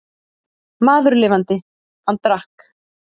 Maður lifandi, hann drakk.